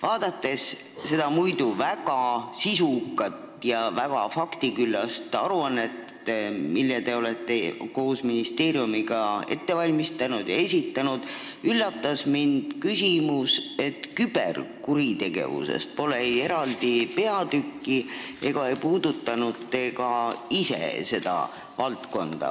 Vaadates seda muidu väga sisukat ja faktiküllast aruannet, mille te olete koos ministeeriumiga ette valmistanud ja mille te esitasite, üllatas mind see, et küberkuritegevusest pole eraldi peatükki ja ka te ise ei puudutanud seda valdkonda.